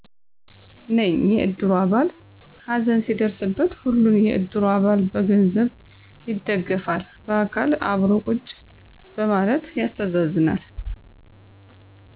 ነኝ የእድሩ አባል ሀዘን ሲደረስበት ሁሉም የእድሩ አባል በገንዘብ ይደግፋል። በአካል አብሮ ቁጭ በማለት ያስተዛዝናል።